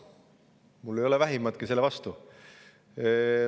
Mul ei ole vähimatki selle vastu.